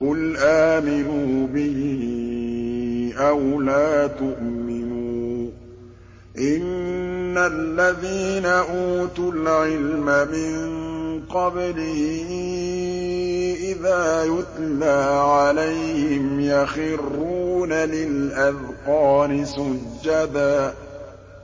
قُلْ آمِنُوا بِهِ أَوْ لَا تُؤْمِنُوا ۚ إِنَّ الَّذِينَ أُوتُوا الْعِلْمَ مِن قَبْلِهِ إِذَا يُتْلَىٰ عَلَيْهِمْ يَخِرُّونَ لِلْأَذْقَانِ سُجَّدًا